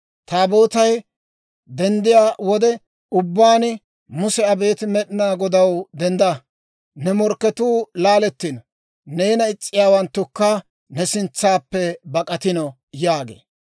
Taabootay denddiyaa wode ubbaan Muse, «Abeet Med'inaa Godaw, dendda! Ne morkketuu laalettino; Neena is's'iyaawanttukka ne sintsaappe bak'atino» yaagee.